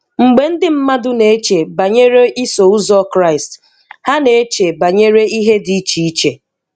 Mgbe ndị mmadụ na-eche banyere Iso Ụzọ Kraịst, ha na-eche banyere ihe dị iche iche.